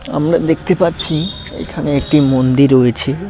আমরা দেখতে পাচ্ছি এখানে একটি মন্দির রয়েছে।